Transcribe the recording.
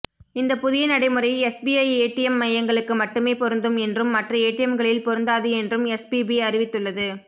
இந்த புதிய நடைமுறை எஸ்பிஐ ஏடிஎம் மையங்களுக்கு மட்டுமே பொருந்தும் என்றும் மற்ற ஏடிஎம்களில் பொருந்தாது என்றும் எஸ்பிபி அறிவித்துள்ளது